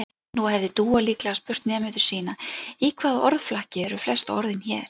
Nú hefði Dúa líklega spurt nemendur sína: Í hvaða orðflokki eru flest orðin hér?